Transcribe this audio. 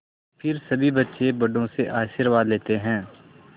फिर सभी बच्चे बड़ों से आशीर्वाद लेते हैं